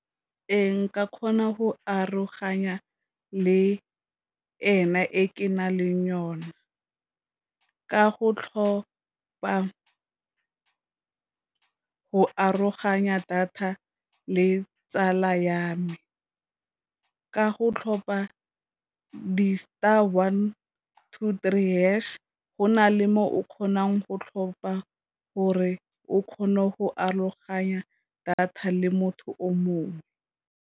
Re, nka kgona go aroganya le ena e ke na leng yona, ka go tlhopa go aroganya data le tsala ya me, ka go tlhopha di star one two three hash, go na le mo o kgonang go tlhopha gore o kgone go aroganya data le motho o mongwe.